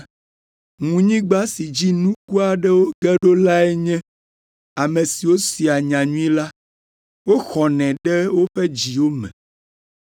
Ŋunyigba si dzi nuku aɖewo ge ɖo lae nye ame siwo sea nyanyui la, woxɔnɛ ɖe woƒe dziwo me,